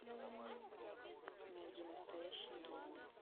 найди настоящий гений